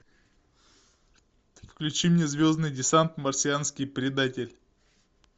включи мне звездный десант марсианский предатель